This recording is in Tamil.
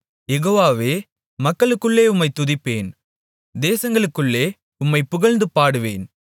யெகோவாவே மக்களுக்குள்ளே உம்மைத் துதிப்பேன் தேசங்களுக்குள்ளே உம்மைப் புகழ்ந்து பாடுவேன்